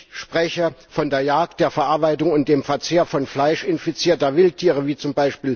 Ich spreche von der Jagd, der Verarbeitung und dem Verzehr von Fleisch infizierter Wildtiere, wie z.